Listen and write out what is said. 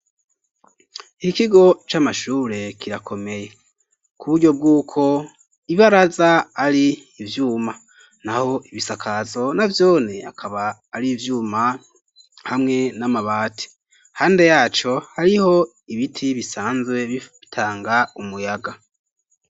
Ikigo c'amashure kirakomeye ku buryo bw'uko ibaraza ari ivyuma naho ibisakazo navyone akaba ari ivyuma hamwe n'amabati, hande yaco hariho ibiti bisanzwe bitanga umuyaga.